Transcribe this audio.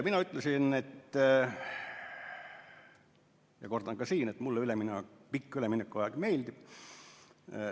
Mina ütlesin seal ja kordan ka siin, et mulle pikk üleminekuaeg meeldib.